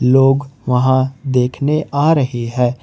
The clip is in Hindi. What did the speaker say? लोग वहां देखने आ रहे है।